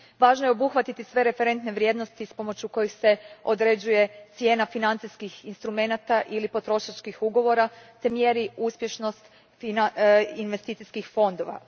Važno je obuhvatiti sve referentne vrijednosti s pomoću kojih se određuje cijena financijskih instrumenata ili potrošačkih ugovora te mjeri uspješnost investicijskih fondova.